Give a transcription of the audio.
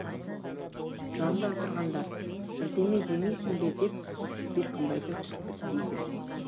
жанында отырғандар бірдеме демейсің бе деп беркінбайды түртпектейді